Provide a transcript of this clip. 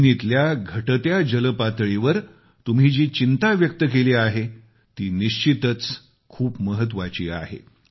जमिनीच्या घटत्या जलपातळीवर तुम्ही जी चिंता व्यक्त केली आहे ती निश्चितच खूप महत्त्वाची आहे